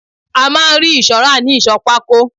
A máa ń rí ìṣọ́ rà ni Ìsọ̀ pákó.